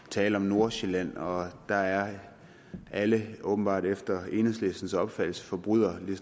tale om nordsjælland og dér er alle åbenbart efter enhedslistens opfattelse forbrydere lige